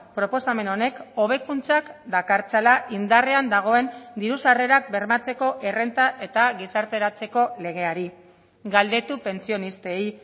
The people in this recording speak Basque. proposamen honek hobekuntzak dakartzala indarrean dagoen diru sarrerak bermatzeko errenta eta gizarteratzeko legeari galdetu pentsionistei